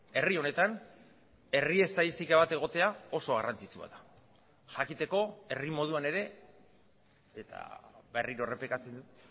herri honetan herri estatistika bat egotea oso garrantzitsua da jakiteko herri moduan ere eta berriro errepikatzen dut